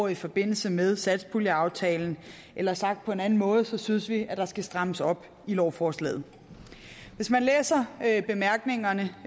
i forbindelse med satspuljeaftalen eller sagt på en anden måde synes vi at der skal strammes op i lovforslaget hvis man læser bemærkningerne